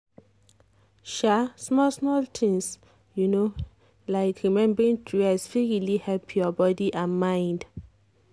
um small-small things um like remembering to rest fit really help your body and mind.